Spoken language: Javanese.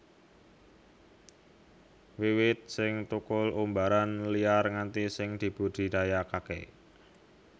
Wiwit sing thukul umbaran liar nganti sing dibudidayakaké